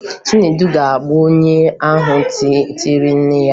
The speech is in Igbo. Chinedu ga-egbu onye ahụ tiri nne ya ihe